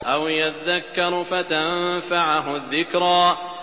أَوْ يَذَّكَّرُ فَتَنفَعَهُ الذِّكْرَىٰ